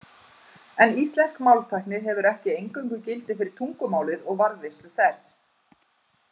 En íslensk máltækni hefur ekki eingöngu gildi fyrir tungumálið og varðveislu þess.